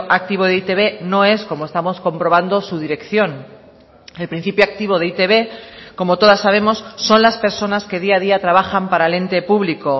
activo de e i te be no es como estamos comprobando su dirección el principio activo de e i te be como todas sabemos son las personas que día a día trabajan para el ente público